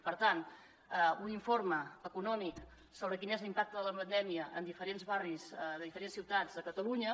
per tant un informe econòmic sobre quin és l’impacte de la pandèmia en diferents barris de diferents ciutats a catalunya